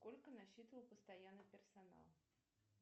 сколько насчитывал постоянный персонал